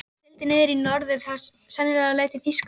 Hann sigldi í norður, sennilega á leið til Þýskalands.